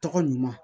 Tɔgɔ ɲuman